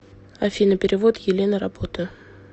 афина перевод елена работа